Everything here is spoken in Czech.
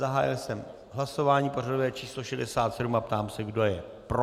Zahájil jsem hlasování pořadové číslo 67 a ptám se, kdo je pro.